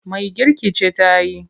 Mai girki ce ta yi.